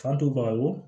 K'a to baga wo